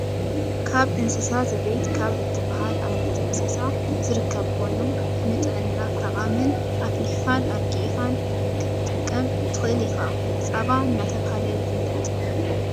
ካብ እንስሳ ዘቤት ካብ እትብሃል ዓይነት እንስሳ ዝርከብ ኮይኑ ንጥዕና ጠቃምን ኣፍልሒካን ኣርጊእካን ክትጥቀም ትክእል ኢካ ። ፃባ እናተባህለ ይፍለጥ።